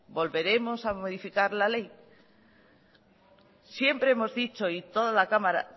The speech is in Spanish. volveremos a modificar la ley siempre hemos dicho y toda la cámara